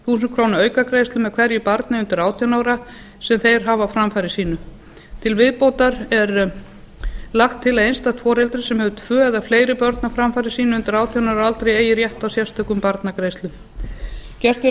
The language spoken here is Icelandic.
þúsund krónur aukagreiðslum með hverju barni undir átján ára sem þeir hafa á framfæri sínu til viðbótar er lagt til að einstakt foreldri sem hefur tvö eða fleiri börn á framfæri sínu undir átján ára aldri eigi rétt á sérstökum barnagreiðslum gert er